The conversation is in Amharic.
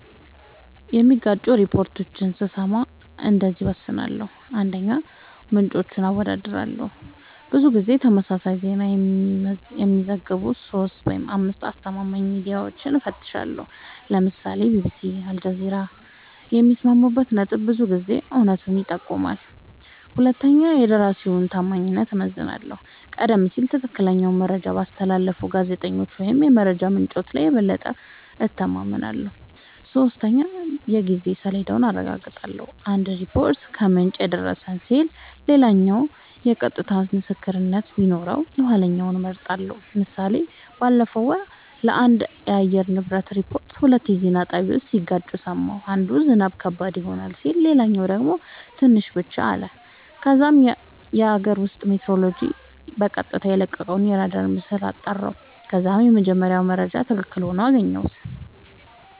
የሚጋጩ ሪፖርቶችን ስሰማ እንደዚህ እወስናለሁ :- 1, ምንጮችን አወዳድራለሁ :-ብዙ ጊዜ ተመሳሳይ ዜና የሚዘግቡ 3-5አስተማማኝ ሚድያወችን እፈትሻለሁ ( ለምሳሌ ቢቢሲ አልጀዚራ )የሚስማሙበት ነጥብ ብዙ ጊዜ እውነቱን ይጠቁማል 2 የደራሲወችን ታማኝነት እመዝናለሁ :-ቀደም ሲል ትክክለኛ መረጃ ባስተላለፉ ጋዜጠኞች ወይም የመረጃ ምንጮች ላይ የበለጠ እተማመናለሁ። 3 የጊዜ ሰሌዳውን አረጋግጣለሁ :- አንድ ሪፖርት "ከምንጭ የደረሰን" ሲል ሌላኛው የቀጥታ ምስክር ቢኖረው የኋለኛውን እመርጣለሁ ## ምሳሌ ባለፈው ወር ስለአንድ የአየር ንብረት ሪፖርት ሁለት የዜና ጣቢያወች ሲጋጩ ሰማሁ። አንዱ "ዝናብ ከባድ ይሆናል " ሲል ሌላኛው ደግሞ "ትንሽ ብቻ " አለ። ከዛም የአገር ውስጥ ሜትሮሎጅ በቀጥታ የለቀቀውን አራዳር ምስል አጣራሁ ከዛም የመጀመሪያው መረጃ ትክክል ሆኖ አገኘሁት